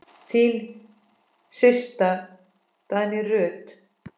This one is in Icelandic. Þín systa, Guðný Ruth.